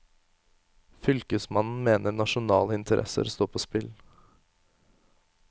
Fylkesmannen mener nasjonale interesser står på spill.